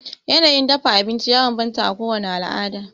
Yanayin dafa abinci ya banbanta a kowani alada